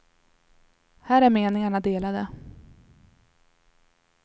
Här är meningarna delade.